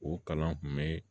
O kalan kun be